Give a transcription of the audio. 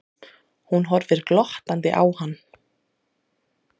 Hún horfir glottandi á hann.